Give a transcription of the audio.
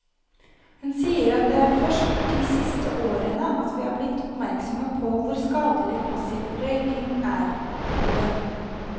Hun sier at det er først de siste årene at vi er blitt oppmerksomme på hvor skadelig passiv røyking er. punktum